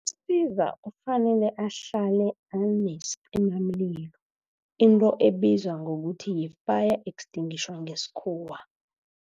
kufanele ahlale anesicimamlilo into ebizwa ngokuthi yi-fire extinguisher ngesikhuwa.